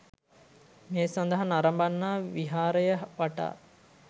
මේ සඳහා නරඹන්නා විහාරය වටා